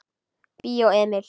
Bíó Emil.